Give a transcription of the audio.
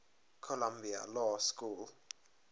columbia law school